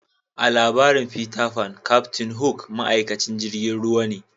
A'labarin Peter Pan captain hook ma'aikatan jirigin ruwa ne.